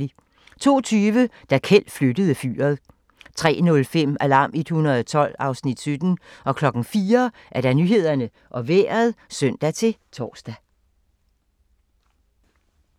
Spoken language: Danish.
02:20: Da Kjeld flyttede fyret 03:05: Alarm 112 (Afs. 17) 04:00: Nyhederne og Vejret (søn-tor)